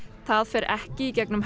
það fer ekki í gegnum